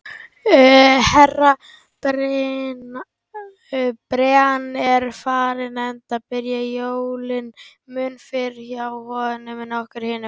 Herra Brian er farinn, enda byrja jólin mun fyrr hjá honum en okkur hinum.